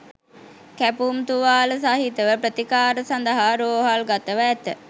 කැපුම් තුවාල සහිතව ප්‍රතිකාර සඳහා රෝහල්ගතව ඇත.